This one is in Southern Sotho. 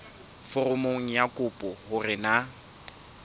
foromong ya kopo hore na